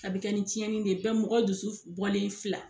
A bɛ kɛ ni tiɲɛni de bɛ mɔgɔ dusu bɔlen fila.